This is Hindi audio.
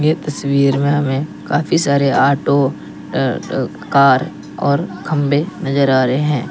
ये तस्वीर में हमें काफी सारे ऑटो अ अ कार और खंभे नजर आ रहे हैं।